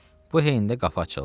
Bu heydə qapı açıldı.